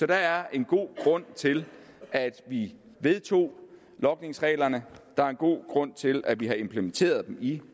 der er en god grund til at vi vedtog logningsreglerne og der er en god grund til at vi har implementeret dem i